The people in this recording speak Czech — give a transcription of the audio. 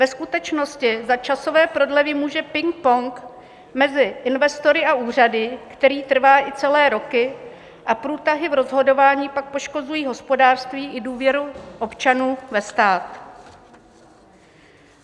Ve skutečně za časové prodlevy může ping-pong mezi investory a úřady, který trvá i celé roky, a průtahy v rozhodování pak poškozují hospodářství i důvěru občanů ve stát.